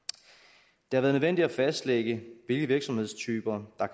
det nødvendigt at fastlægge hvilke virksomhedstyper der